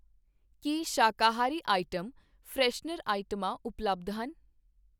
ਕੀ, ਸ਼ਾਕਾਹਾਰੀ item, freshener ਆਈਟਮਾਂ ਉਪਲੱਬਧ ਹਨ ?